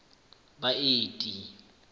baeti